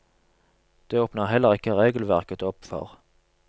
Det åpner heller ikke regelverket opp for.